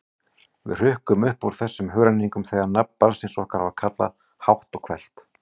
Við hrukkum upp úr þessum hugrenningum þegar nafn barnsins okkar var kallað hátt og hvellt.